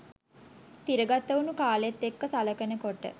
තිරගතවුණු කාලෙත් එක්ක සලකනකොට